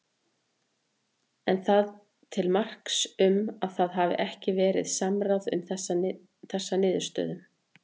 Er það til marks um að það hafi ekki verið samráð um þessa niðurstöðum?